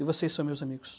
E vocês são meus amigos.